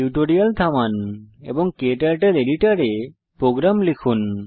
tutorial থামান এবং KTurtle এডিটরে প্রোগ্রাম লিখুন